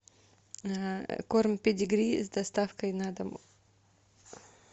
корм педигри с доставкой на дом